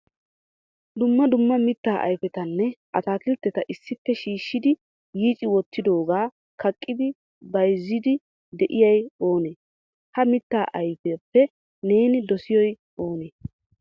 Dumma dumma mitta ayfetanne ataakiltetta issippe shiishshidi yiicci wottidooga kaqqidi bayzziido de'iyay oonee? Ha mitta ayfiyappe neeni dossiyoy oonee ?